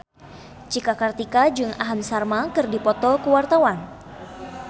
Cika Kartika jeung Aham Sharma keur dipoto ku wartawan